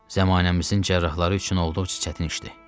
Zəmanəmizin cərrahları üçün olduqca çətin işdir.